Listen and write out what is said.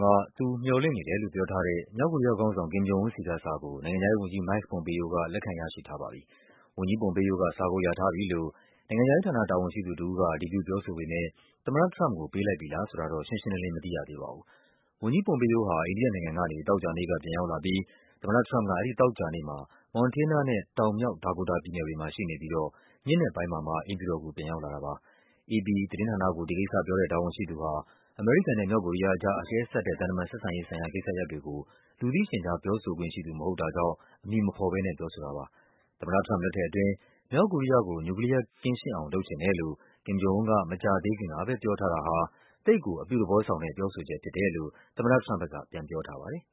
က သူမျှော်လင့်နေတယ်လို့ပြောထားတဲ့ မြောက်ကိုရီးယားခေါင်းဆောင် Kim Jong Un ဆီက စာကို နိုင်ငံခြားရေးဝန်ကြီး Mike Pompeo က လက်ခံရရှိထားပြီးပါပြီ။ ဝန်ကြီး Pompeo က စာကိုရထားပြီလို့ နိုင်ငံခြားရေးဌာန တာဝန်ရှိသူတဦးက အတည်ပြုပြောဆိုပေမဲ့ သမ္မတထရမ့်ပ်ကို ပေးလိုက်ပြီလားဆိုတာတော့ ရှင်းရှင်းလင်းလင်း မသိရသေးပါဘူး။ ဝန်ကြီး Pompeo ဟာ အိန္ဒိယနိုင်ငံကနေ သောကြာနေ့က ပြန်ရောက်လာပြီး သမ္မတထရမ့်ပ်က သောကြာနေ့မှာ Montana နဲ့ တောင် မြောက် ဒါကိုတာပြည်နယ်တွေမှာ ရှိနေပြီးတော့ ညဉ့်နက်ပိုင်းမှာမှ အိမ်ဖြူတော်ကို ပြန်ရောက်လာတာပါ။ အေပီသတင်းဌာနကို ဒီကိစ္စပြောတဲ့ တာဝန်ရှိသူဟာ အမေရိကန်နဲ့ မြောက်ကိုရီးယားအကြား အကဲဆတ်တဲ့ သံတမန်ဆက်ဆံရေး ဆိုင်ရာကိစ္စရပ်တွေကို လူသိရှင်ကြား ပြောဆိုခွင့်ရှိသူ မဟုတ်တာကြောင့် အမည်မဖော်ဘဲ ပြောဆိုတာပါ။ သမ္မတထရမ့်ပ် လက်ထက်အတွင်း မြောက်ကိုရီးယားကို နျူကလီးယားကင်းရှင်းအောင် လုပ်ချင်တယ်လို့ Kim Jong Un က မကြာသေးခင်က ပြောထားတာဟာ “သိပ်ကို အပြုသဘော ဆောင်တဲ့ ပြောဆိုချက်” ဖြစ်တယ်လို့ သမ္မတထရမ့်ပ်က ပြောထားပါတယ်